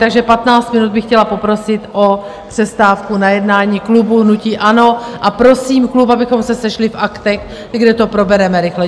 Takže 15 minut bych chtěla poprosit o přestávku na jednání klubu hnutí ANO a prosím klub, abychom se sešli v Aktech, kde to probereme rychle.